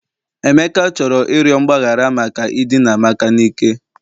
Emeka chọrọ ịrịọ mgbaghara maka idina amaka n'ike